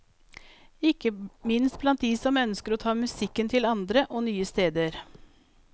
Ikke minst blant de som ønsker å ta musikken til andre og nye steder.